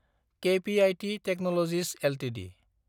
कॆपिऐटि technologies Ltd